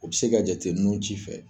O be se ka jate nu ci fɛ